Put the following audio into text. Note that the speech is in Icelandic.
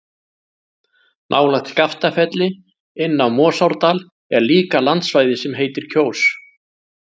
Nálægt Skaftafelli, inn af Morsárdal er líka landsvæði sem heitir Kjós.